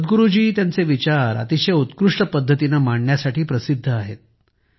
सद्गुरुजी त्यांचे विचार अतिशय उत्कृष्ट पद्धतीने मांडण्यासाठी प्रसिद्ध आहेत